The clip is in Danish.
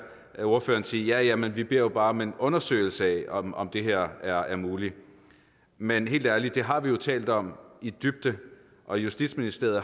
ordføreren sige ja ja men vi beder jo bare om en undersøgelse af om om det her er muligt men helt ærligt det har vi jo talt om i dybden og justitsministeriet